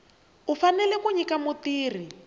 u fanele ku nyika mutirhi